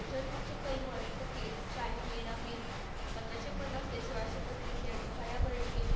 अजान फकीर पंधराशे पन्नास ते सोळाशे पस्तीस यांनी पायाभरणी केली.